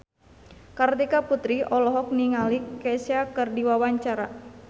Kartika Putri olohok ningali Kesha keur diwawancara